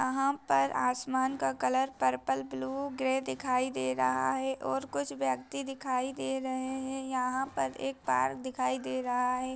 यहाँ पर आसमान का कलर पर्पल ब्लू ग्रे दिखाई दे रहा है और कुछ व्यक्ति दिखाई दे रहे है यहाँ पर एक पार्क दिखाई दे रहा है।